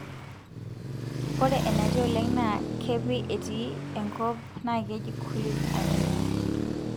ore enatii oleng na kepii etii enkop na keji cooleys anemia